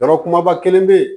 Yɔrɔ kumaba kelen bɛ yen